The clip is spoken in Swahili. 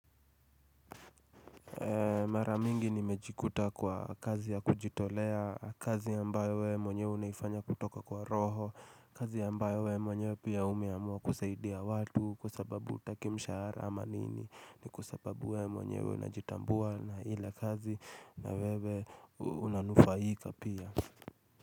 Maramingi nimejikuta kwa kazi ya kujitolea kazi ambayo we mwanyewe unaifanya kutoka kwa roho kazi yambayo we mwanyewe pia umiamua kusaiidia watu kwa sababu utaki mshahara ama nini ni kwa sababu we mwanyewe unajitambua na ile kazi na wewe unanufaika pia.